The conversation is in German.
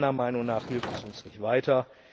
Meiner Meinung nach hilft es uns nicht weiter.